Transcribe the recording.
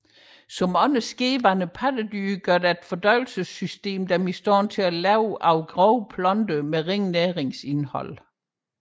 Som andre skedehornede pattedyr gør deres fordøjelsessystem dem i stand til at leve af grove planter med ringe næringsindhold